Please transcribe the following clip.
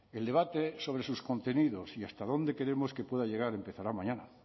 el debate sobre sus contenidos y hasta dónde queremos que pueda llegar empezará mañana